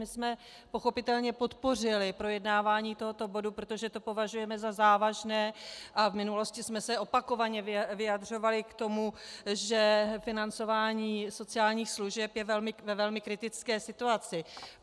My jsme pochopitelně podpořili projednávání tohoto bodu, protože to považujeme za závažné a v minulosti jsme se opakovaně vyjadřovali k tomu, že financování sociálních služeb je ve velmi kritické situaci.